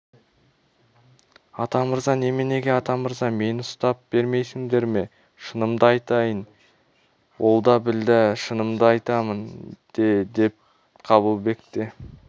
атамырза неменеге атамырза мені ұстап бермейсіңдер ме шынымды айтайын олда-білда шынымды айтамын де деп қабылбек те